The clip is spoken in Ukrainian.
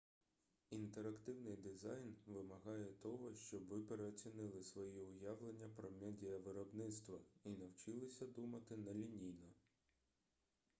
інтерактивний дизайн вимагає того щоб ви переоцінили свої уявлення про медіавиробництво і навчилися думати нелінійно